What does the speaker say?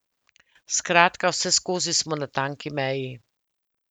Skratka, vseskozi smo na tanki meji.